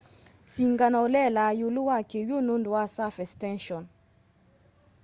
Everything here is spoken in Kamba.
singano ulelaa iulu wa kiw'u nundu wa surface tension